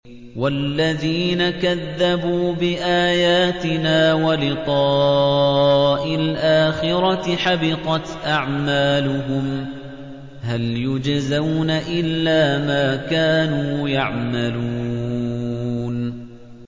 وَالَّذِينَ كَذَّبُوا بِآيَاتِنَا وَلِقَاءِ الْآخِرَةِ حَبِطَتْ أَعْمَالُهُمْ ۚ هَلْ يُجْزَوْنَ إِلَّا مَا كَانُوا يَعْمَلُونَ